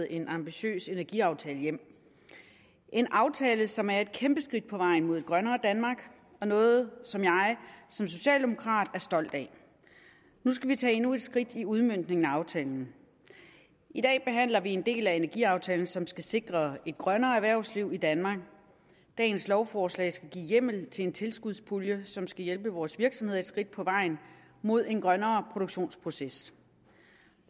en ambitiøs energiaftale hjem en aftale som er et kæmpe skridt på vejen mod et grønnere danmark og noget som jeg som socialdemokrat er stolt af nu skal vi tage endnu et skridt med udmøntningen af aftalen i dag behandler vi en del af energiaftalen som skal sikre et grønnere erhvervsliv i danmark dagens lovforslag skal give hjemmel til en tilskudspulje som skal hjælpe vores virksomheder et skridt på vejen mod en grønnere produktionsproces